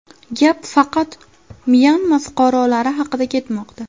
Gap faqat Myanma fuqarolari haqida ketmoqda.